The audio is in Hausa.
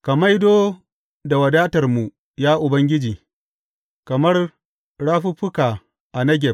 Ka maido da wadatarmu, ya Ubangiji kamar rafuffuka a Negeb.